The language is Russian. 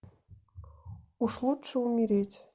уж лучше умереть